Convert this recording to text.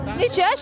Neçə yaşın var?